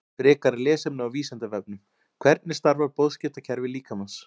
Frekara lesefni á Vísindavefnum: Hvernig starfar boðskiptakerfi líkamans?